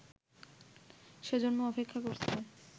সেজন্য অপেক্ষা করছে